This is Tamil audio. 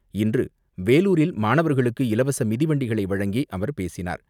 இன்று வேலூரில் மாணவர்களுக்கு இலவச மிதிவண்டிகளை வழங்கி அவர் பேசினார்.